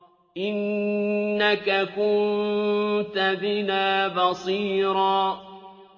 إِنَّكَ كُنتَ بِنَا بَصِيرًا